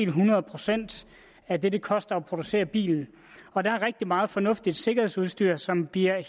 hundrede procent af det det koster at producere bilen og der er rigtig meget fornuftigt sikkerhedsudstyr som bliver